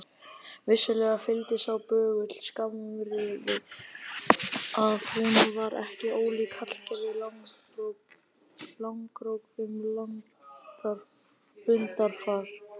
Vissulega fylgdi sá böggull skammrifi að hún var ekki ólík Hallgerði Langbrók um lundarfar.